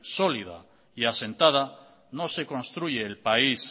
sólida y asentada no se construye el país